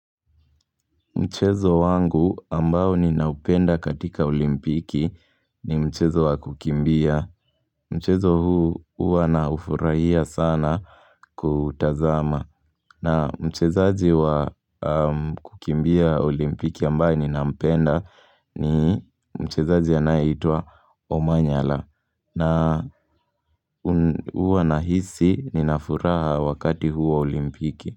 Mchezo wangu ambao ninaupenda katika olimpiki ni mchezo wa kukimbia. Mchezo huu uwa naufurahia sana kuutazama. Na mchezaji wa kukimbia olimpiki ambaye ninampenda ni mchezaji anaeitwa Omanyala. Na huwa nahisi ninafuraha wakati huu wa olimpiki.